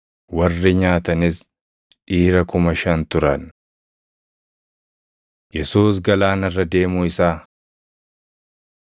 Warri nyaatanis dhiira kuma shan turan. Yesuus Galaana Irra Deemuu Isaa 6:45‑51 kwf – Mat 14:22‑32; Yoh 6:15‑21 6:53‑56 kwf – Mat 14:34‑36